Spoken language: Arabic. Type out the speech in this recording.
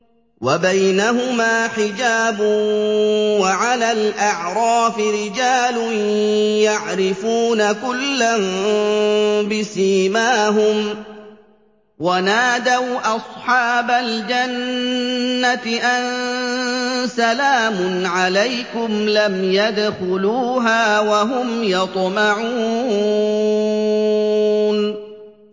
وَبَيْنَهُمَا حِجَابٌ ۚ وَعَلَى الْأَعْرَافِ رِجَالٌ يَعْرِفُونَ كُلًّا بِسِيمَاهُمْ ۚ وَنَادَوْا أَصْحَابَ الْجَنَّةِ أَن سَلَامٌ عَلَيْكُمْ ۚ لَمْ يَدْخُلُوهَا وَهُمْ يَطْمَعُونَ